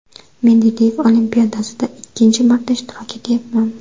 Mendeleev olimpiadasida ikkinchi marta ishtirok etayapman.